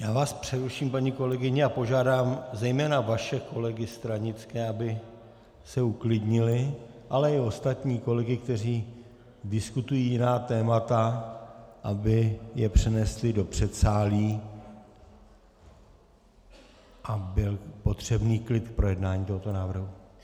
Já vás přeruším, paní kolegyně, a požádám zejména vaše kolegy stranické, aby se uklidnili, ale i ostatní kolegy, kteří diskutují jiná témata, aby je přenesli do předsálí a byl potřebný klid k projednání tohoto návrhu.